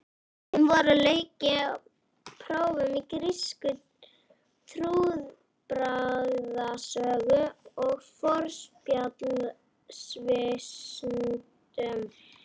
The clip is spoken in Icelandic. Um vorið lauk ég prófum í grísku, trúarbragðasögu og forspjallsvísindum.